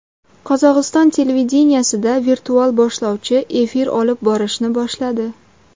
Qozog‘iston televideniyesida virtual boshlovchi efir olib borishni boshladi .